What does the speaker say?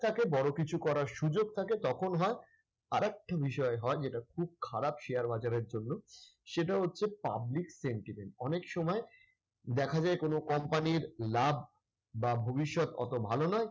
তাকে বড় কিছু করার সুযোগ থাকে তখন হয়। আরেকটা বিষয় হয় যেটা খুব খারাপ share বাজারের জন্য, সেটা হচ্ছে public sentiment অনেক সময় দেখা যায় কোন company র লাভ বা ভবিষ্যৎ অত ভালো নয়।